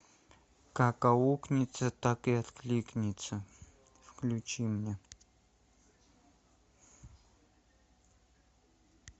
как аукнется так и откликнется включи мне